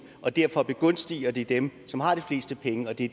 og derfor begunstiger det dem som har de fleste penge og det